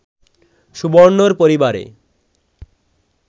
সুবর্ণর পরিবারে